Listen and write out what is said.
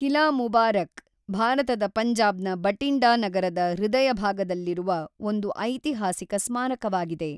ಕಿಲಾ ಮುಬಾರಕ್, ಭಾರತದ ಪಂಜಾಬ್‌ನ ಬಟಿಂಡಾ ನಗರದ ಹೃದಯಭಾಗದಲ್ಲಿರುವ ಒಂದು ಐತಿಹಾಸಿಕ ಸ್ಮಾರಕವಾಗಿದೆ.